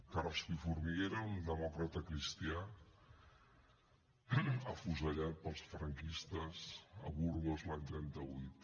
carrasco i formiguera era un demòcrata cristià afusellat pels franquistes a burgos l’any trenta vuit